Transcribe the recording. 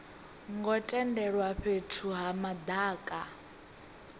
ngo tendelwa fhethu ha madaka